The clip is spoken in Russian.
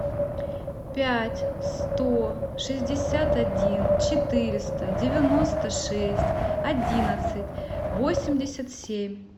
пять сто шестьдесят один четыреста девяносто шесть одиннадцать восемьдесят семь